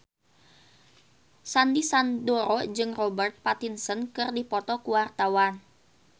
Sandy Sandoro jeung Robert Pattinson keur dipoto ku wartawan